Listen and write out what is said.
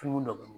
Dumuni dɔ